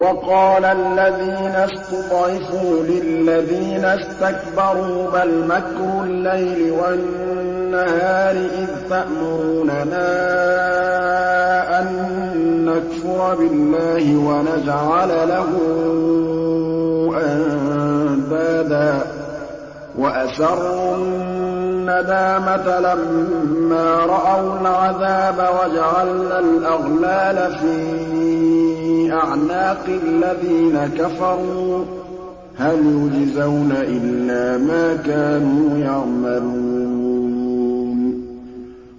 وَقَالَ الَّذِينَ اسْتُضْعِفُوا لِلَّذِينَ اسْتَكْبَرُوا بَلْ مَكْرُ اللَّيْلِ وَالنَّهَارِ إِذْ تَأْمُرُونَنَا أَن نَّكْفُرَ بِاللَّهِ وَنَجْعَلَ لَهُ أَندَادًا ۚ وَأَسَرُّوا النَّدَامَةَ لَمَّا رَأَوُا الْعَذَابَ وَجَعَلْنَا الْأَغْلَالَ فِي أَعْنَاقِ الَّذِينَ كَفَرُوا ۚ هَلْ يُجْزَوْنَ إِلَّا مَا كَانُوا يَعْمَلُونَ